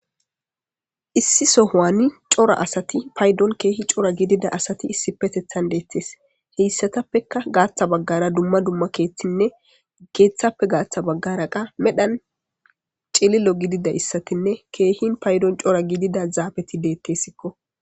Issi sohowani cora asati paydon keehi cora gidida asati issi petethan deettes heyssatappeka gaaththa baggara dumma dumma keeththinne keeththappe gaatha baggara qa medhan celilo gidida issatinne keehin paydon cora gidida zaafeti deettessikko.